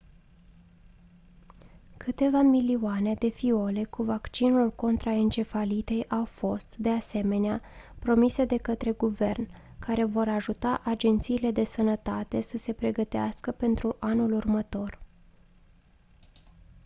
câteva milioane de fiole cu vaccinul contra encefalitei au fost de asemenea promise de către guvern care vor ajuta agențiile de sănătate să se pregătească pentru anul următor